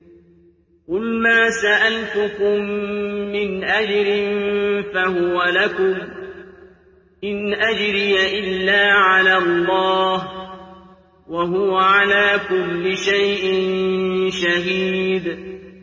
قُلْ مَا سَأَلْتُكُم مِّنْ أَجْرٍ فَهُوَ لَكُمْ ۖ إِنْ أَجْرِيَ إِلَّا عَلَى اللَّهِ ۖ وَهُوَ عَلَىٰ كُلِّ شَيْءٍ شَهِيدٌ